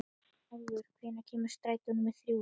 Álfur, hvenær kemur strætó númer þrjú?